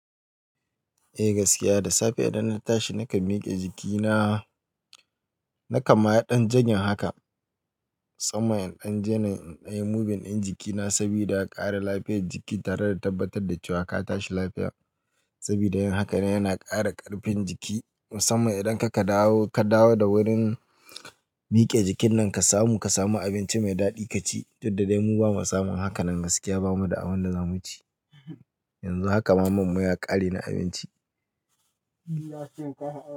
Eh gaskiya da safe idan na tashi na kam miƙe jikina. Na kanma yi ɗan jogging haka. Musamman iɗan jene inɗan yi moving in jikina sabida a ƙara lafiyar jiki tare da tabbatar da cewa ka tashi lafiya. Sabida yin haka ne yana ƙara ƙarfin jiki. Musamman idan ka ka dawo da wurin miƙe jikin nan ka samu abinci mai daɗi ka ci, duk da dai mu ba mu samu haka nan gaskiya ba mu da abin da za mu ci. Yanzu haka man mu ya ƙare na abinci.